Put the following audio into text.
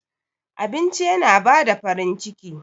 Abinci yana bada farin ciki.